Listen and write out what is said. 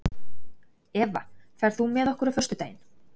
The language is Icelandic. Eva, ferð þú með okkur á föstudaginn?